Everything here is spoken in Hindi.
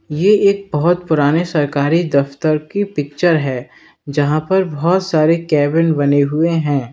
ये एक बहुत पुराने सरकारी दफ्तर की पिक्चर है यहां पर बहुत सारे केबिन बने हुए हैं।